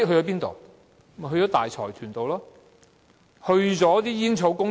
便是大財團和煙草公司。